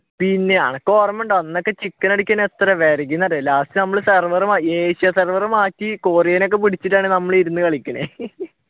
പിന്നെ അനക്ക് ഓര്മയുണ്ടാവും അന്നൊക്കെ ചിക്കൻ അടിക്കാൻ എത്ര വിരകി എന്നറിയോ lastserver നമ്മൾ asia server മാറ്റി കൊറിയൻ ഒക്കെ പിടിച്ചിട്ടാണ് നമ്മള് ഇരുന്നു കളിക്കുന്നത്